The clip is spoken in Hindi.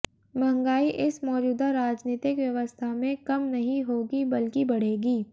महंगाई इस मौजूदा राजनीतिक व्यवस्था में कम नहीं होगी बल्कि बढ़ेगी